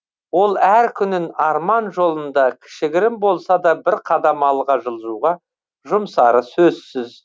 ол әр күнін арман жолында кішігірім болса да бір қадам алға жылжуға жұмсары сөзсіз